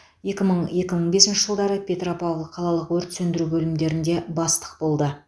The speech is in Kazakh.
екі мың екі мың бесінші жылдары петропавл қалалық өрт сөндіру бөлімдерінде бастық болды